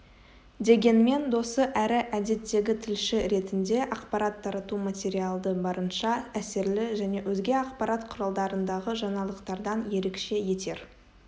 дегенмен досы әрі әдеттегі тілші ретінде ақпарат тарату материалды барынша әсерлі және өзге ақпарат құралдарындағы жаңалықтардан ерекше етер